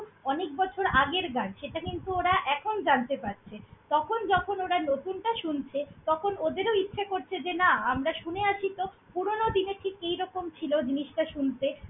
অনেক বছর আগের গান সেটা কিন্তু ওরা এখন জানতে পারছে, তখন যখন ওরা নতুনটা শুনছে, তখন ওদেরও ইচ্ছে করছে যে না আমরা শুনে আসি তো পুরোনো দিনের ঠিক কিরকম ছিল জিনিসটা শুনতে।